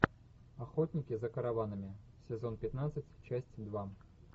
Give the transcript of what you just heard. охотники за караванами сезон пятнадцать часть два